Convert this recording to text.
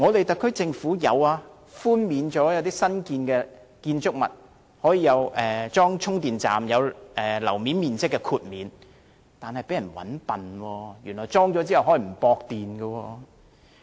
特區政府對於安裝充電站的新建築物會批出樓面面積豁免，但卻被佔了便宜，原來安裝充電站後可以不接駁電源。